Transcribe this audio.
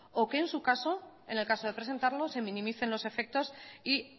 o que en su caso en el caso de presentarlo se minimicen los efectos y